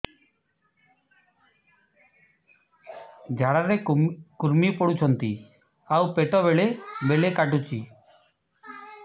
ଝାଡା ରେ କୁର୍ମି ପଡୁଛନ୍ତି ଆଉ ପେଟ ବେଳେ ବେଳେ କାଟୁଛି